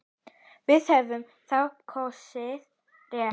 Við höfum þá kosið rétt.